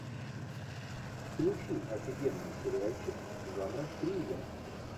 включи офигенный сериальчик жанра триллер